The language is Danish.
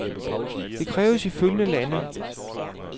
Det kræves i følgende lande.